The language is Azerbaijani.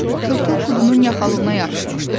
Tırtıl Kudunun yaxalığına yapışmışdı.